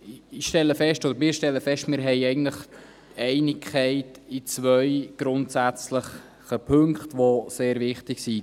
Wir stellen fest: Wir haben eigentlich Einigkeit in zwei grundsätzlichen Punkten, die sehr wichtig sind.